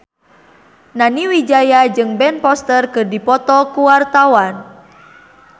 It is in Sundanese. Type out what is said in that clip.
Nani Wijaya jeung Ben Foster keur dipoto ku wartawan